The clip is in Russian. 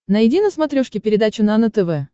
найди на смотрешке передачу нано тв